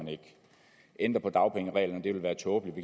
ændre på dagpengereglerne det vil være tåbeligt